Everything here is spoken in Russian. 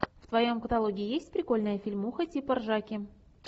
в твоем каталоге есть прикольная фильмуха типа ржаки